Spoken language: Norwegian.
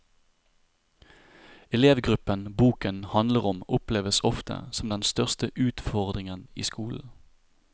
Elevgruppen boken handler om oppleves ofte som den største utfordringen i skolen.